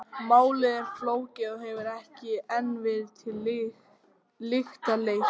Málið er flókið og hefur ekki enn verið til lykta leitt.